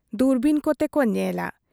ᱫᱩᱨᱵᱤᱱ ᱠᱚ ᱛᱮ ᱠᱚ ᱧᱮᱞᱟ ᱾